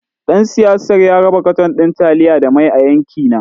Ɗan siyasar ya raba katon ɗin taliya da mai a yankina.